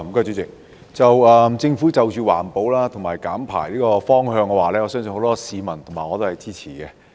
對於政府朝環保及減排的方向所推出的措施，很多市民和我均會支持。